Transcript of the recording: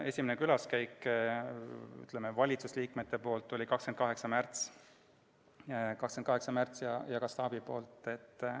Esimese külaskäigu tegid valitsusliikmed ja staap 28. märtsil.